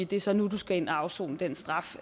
det så er nu de skal ind at afsone den straf